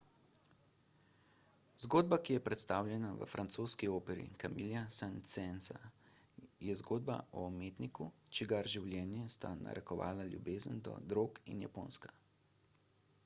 zgodba ki je predstavljena v francoski operi camilla saint-seansa je zgodba o umetniku čigar življenje sta narekovala ljubezen do drog in japonska